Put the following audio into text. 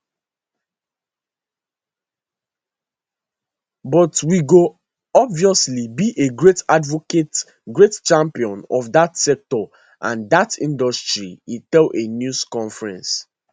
but we go obviously be a great advocate great champion of dat sector and dat industry e tell a news conference